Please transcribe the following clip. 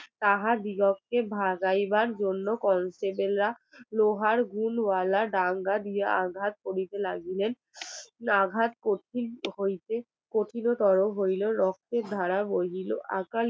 ভাগাইবার জন্য কনস্টেবলরা লোহার বালা ডান্ডা দিয়ে আঘাত করিতে লাগিলেন আঘাত কঠিন হইতে কঠিনতর হইল রক্তের ধারা বহিলো